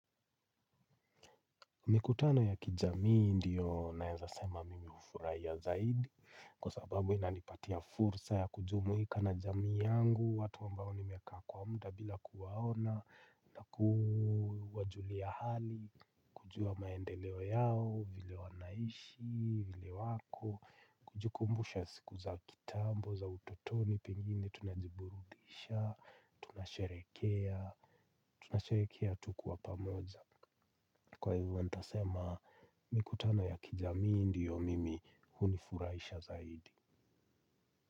Mikutano ya kijamii, ndio, naenza sema mimi hufuraia zaidi. Kwa sababu inanipatia fursa ya kujumuika na jamii yangu, watu ambao nimekaa kwa muda bila kuwaona. Na kuwajulia hali. Kujua maendeleo yao, vile wanaishi, vile wako. Kujikumbusha siku za kitambo, za utotoni pengine tunajiburudisha, tunasherekea, tunasherekea tukiwa pamoja. Kwa hivyo nitasema mikutano ya kijamii ndiyo mimi hunifuraisha zaidi.